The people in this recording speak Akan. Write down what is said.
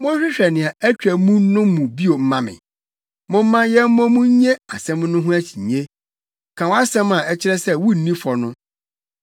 Monhwehwɛ nea atwa mu no mu bio mma me, momma yɛmmɔ mu nnye asɛm no ho akyinnye; ka wʼasɛm a ɛkyerɛ sɛ wunni fɔ no.